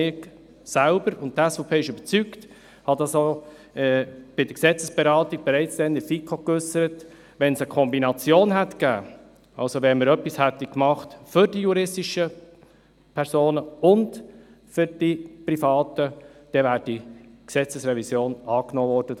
Ich selber und die SVP sind überzeugt, und ich habe das bereits bei der Gesetzesberatung in der FiKo geäussert: Wenn es eine Kombination gegeben hätte, wenn wir also etwas getan hätten für die juristischen Personen und für die privaten, dann wäre die Gesetzesrevision angenommen worden.